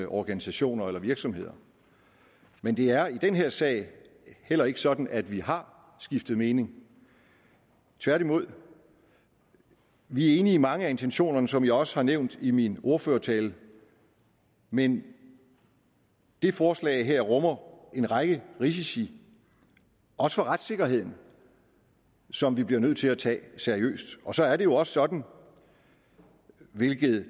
organisationer eller virksomheder men det er i den her sag heller ikke sådan at vi har skiftet mening tværtimod vi er enige i mange af intentionerne som jeg også har nævnt i min ordførertale men det forslag her rummer en række risici også for retssikkerheden som vi bliver nødt til at tage seriøst så er det jo også sådan hvilket